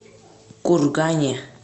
кургане